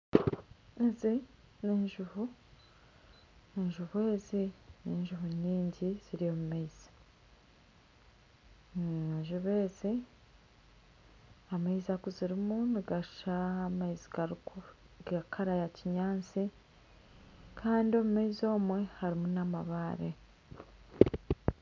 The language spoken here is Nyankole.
Ezi ni enjubu, enjubu ezi ni enjubu nyingi ziri omu maizi, enjubu ezi, amaizi agu zirimu nigashusha aga kara ya kinyantsi kandi omu maizi omwe harimu na amabare .